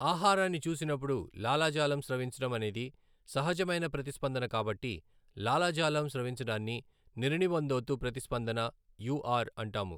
ఆహారాన్ని చూసినపుడు లాలాజాలం స్రవించడం అనేది సహజమైన ప్రతిస్పందన కాబట్టి లాలాజాలం స్రవించడాన్ని నిర్నివందోత ప్రతిస్పందన యూఆర్ అంటాము.